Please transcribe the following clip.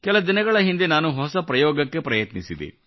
ಕೆಲ ದಿನಗಳ ಹಿಂದೆ ನಾನು ಹೊಸ ಪ್ರಯೋಗಕ್ಕೆ ಪ್ರಯತ್ನಿಸಿದೆ